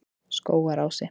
Skógarási